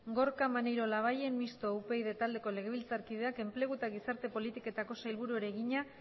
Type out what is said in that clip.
gorka maneiro labayen mistoa upyd taldeko legebiltzarkideak enplegu eta gizarte politiketako sailburuari egina